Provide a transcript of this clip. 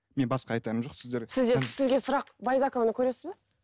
менің басқа айтарым жоқ сізге сұрақ байзақованы көресіз бе